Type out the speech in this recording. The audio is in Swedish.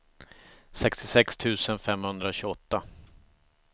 sextiosex tusen femhundratjugoåtta